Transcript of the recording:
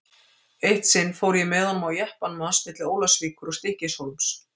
Eitt sinn fór ég með honum á jeppanum hans milli Ólafsvíkur og Stykkishólms.